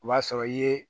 O b'a sɔrɔ i ye